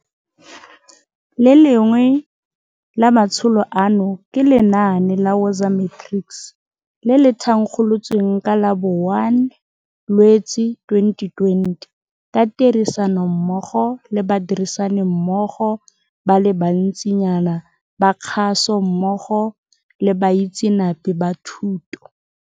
Le lengwe la matsholo ano ke lenaane la Woza Matrics, le le thankgolotsweng ka la bo 01 Lwetse 2020 ka tirisanommogo le badirisanimmogo ba le bantsinyana ba kgaso mmogo le baitseanape ba thuto.